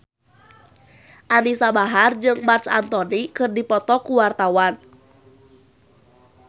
Anisa Bahar jeung Marc Anthony keur dipoto ku wartawan